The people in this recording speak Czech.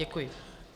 Děkuji.